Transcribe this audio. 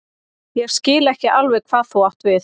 Ég skil ekki alveg hvað þú átt við.